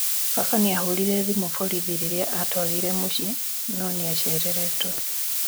Baba nĩahũrire thimũ borithi rĩrĩa atwagire mũciĩ no nĩacereretwe